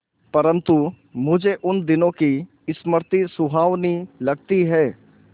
परंतु मुझे उन दिनों की स्मृति सुहावनी लगती है